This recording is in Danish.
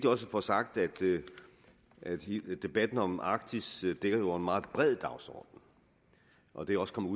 også at få sagt at debatten om arktis jo dækker over en meget bred dagsorden og det er også kommet